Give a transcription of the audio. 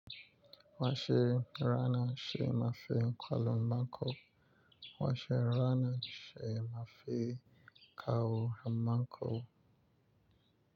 Wa she rana she mafi kwalo bako. Wa she rana she mafi kawo maku.